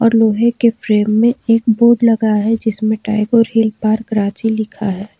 लोहे के फ्रेम में एक बोर्ड लगा है जिसमें टैगोर हिल पार्क रांची लिखा है।